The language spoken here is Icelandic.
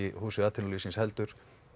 húsi atvinnulífsins heldur